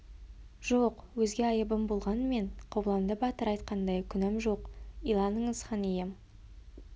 жоқ өзге айыбым болғанменен қобыланды батыр айтқандай күнәм жоқ иланыңыз хан ием